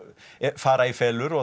fara í felur og